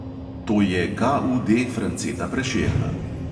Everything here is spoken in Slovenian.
To je KUDa franceta prešerna.